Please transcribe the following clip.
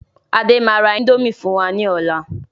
Adé máa ra índòmí fún wa ní ọ̀la